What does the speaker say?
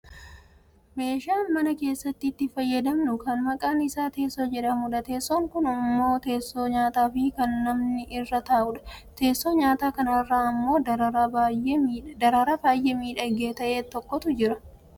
Meeshaa mama keessatti itti fayyadamnu kan maqaan isaa teessoo jedhamudha. Teessoon kun ammoo teessoo nyaataa fi kan namni irra taa'udha. Teessoo nyaataa kanarra ammoo daraaraa baayyee miidhagaa ta'e tokkotu argama.